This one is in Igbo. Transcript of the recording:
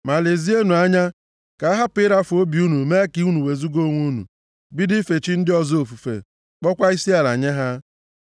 Ma lezienụ anya, ka ahapụ ịrafu obi unu mee ka unu wezuga onwe unu, bido ife chi ndị ọzọ ofufe, kpọọkwa isiala nye ha.